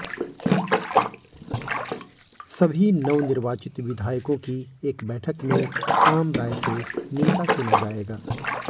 सभी नवनिर्वाचित विधायकों की एक बैठक में आमराय से नेता चुना जाएगा